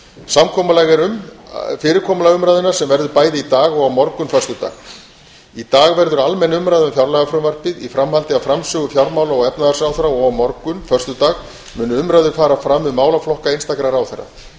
samkomulag er um fyrirkomulag umræðunnar sem verður bæði í dag og á morgun föstudag í dag verður almenn umræða um fjárlagafrumvarpið í framhaldi af framsögu fjármála og efnahagsráðherra og á morgun föstudag munu umræður fara fram um málaflokka einstakra ráðherra